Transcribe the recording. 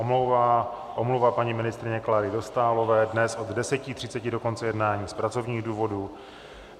Omluva paní ministryně Kláry Dostálové dnes od 10.30 do konce jednání z pracovních důvodů.